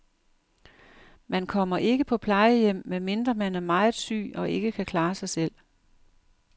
Man kommer ikke på plejehjem, medmindre man er meget syg og ikke kan klare sig selv.